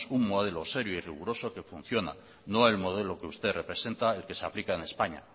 un modelo serio y riguroso que funciona no el modelo que usted representa y que se aplica en españa